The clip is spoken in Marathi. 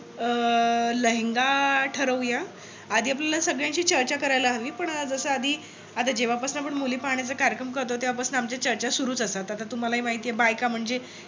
अं लेहंगा ठरवूयात. आधी आपल्याला सगळ्यांशी चर्चा करायला हवी. पण जस आधी आपण जेव्हा पसन आपण मुली पाहण्याचा कार्यक्रम करतो. तेव्हा पासून आमच्या चर्चा सुरूच असतात आता तुम्हाला हि माहित आहे बाईका म्हणजे